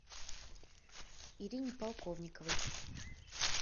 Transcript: ирине полковниковой